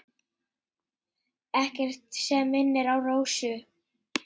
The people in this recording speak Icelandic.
Ekkert sem minnir á Rósu.